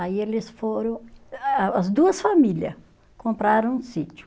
Aí eles foram, a as duas família, compraram um sítio.